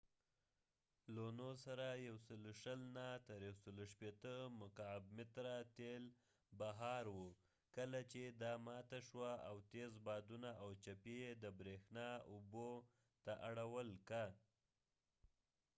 لونو سره ۱۲۰–۱۶۰ مکعب متره تیل بهار وو کله چې دا ماته شوه او تيز بادونه او چپي یې د بریښنا اوبو ته اړول که